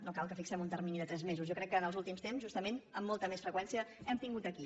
no cal que fixem un termini de tres mesos jo crec que en els últims temps justament amb molta més freqüència hem tingut aquí